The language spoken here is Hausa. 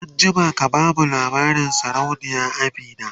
an jima ka bamu labarin sarauniya Amina!